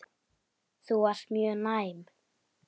Er þá fátt eitt talið.